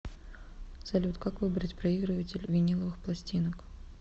салют как выбрать проигрыватель виниловых пластинок